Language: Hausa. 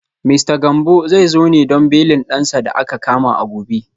Mista Gambo zai zo ne don belin dansa da aka kama a gobe